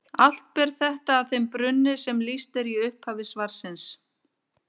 Allt ber þetta að þeim brunni sem lýst er í upphafi svarsins.